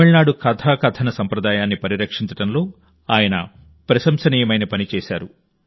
తమిళనాడు కథాకథన సంప్రదాయాన్ని పరిరక్షించడంలో ఆయన ప్రశంసనీయమైన పని చేశారు